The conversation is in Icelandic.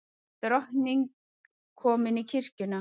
Drottning komin í kirkjuna